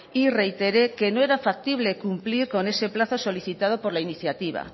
y reitere que no era factible cumplir con ese plazo solicitado por la iniciativa